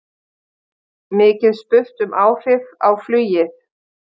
Mikið spurt um áhrif á flugið